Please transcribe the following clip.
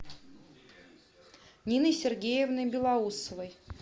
ниной сергеевной белоусовой